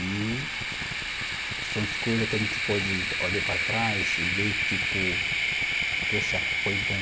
E são as coisa que a gente pode olhar para trás e ver, tipo, poxa, foi bom.